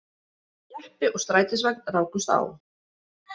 Jeppi og strætisvagn rákust á